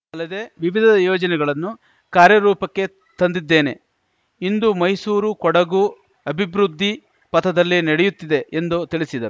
ಅಲ್ಲದೆ ವಿವಿಧ ಯೋಜನೆಗಳನ್ನು ಕಾರ್ಯರೂಪಕ್ಕೆ ತಂದಿದ್ದೇನೆ ಇಂದು ಮೈಸೂರು ಕೊಡಗು ಅಭಿವೃದ್ಧಿ ಪಥದಲ್ಲಿ ನಡೆಯುತ್ತಿದೆ ಎಂದು ತಿಳಿಸಿದರು